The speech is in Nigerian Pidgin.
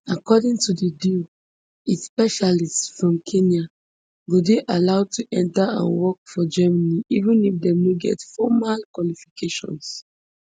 according to di deal it specialists from kenya go dey allowed to enter and work for germany even if dem no get formal qualifications